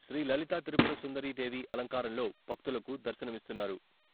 శ్రీ లలితా త్రిపుర సుందరీదేవి అలంకారంలో భక్తులకు దర్శనమిస్తున్నారు..